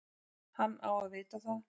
Hann á að vita það.